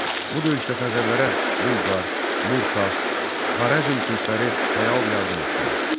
Bu döyüşdə Xəzərlərə Bulqar, Burtas, Xarəzm türkləri fəal yardım etdilər.